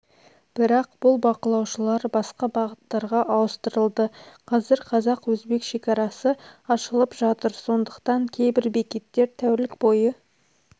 бірақ бұл бақылаушылар басқа бағыттарға ауыстырылды қазір қазақ-өзбек шекарасы ашылып жатыр сондықтан кейбір бекеттер тәулік бойы